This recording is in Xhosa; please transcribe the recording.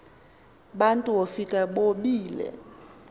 bantu wofika bobile